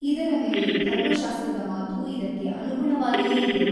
ಇದರ ಮೇಲೆ ಧರ್ಮಶಾಸ್ತ್ರದ ಮಾತೂ ಇದಕ್ಕೆ ಅನುಗುಣವಾಗಿಯೇ ಇದೆ.